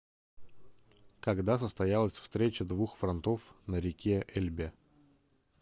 когда состоялась встреча двух фронтов на реке эльбе